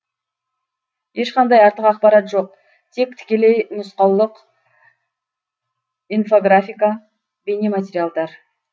ешқандай артық ақпарат жоқ тек тікелей нұсқаулық инфографика бейнематериалдар